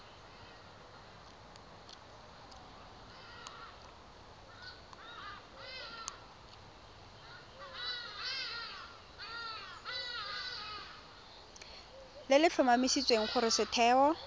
le le tlhomamisang gore setheo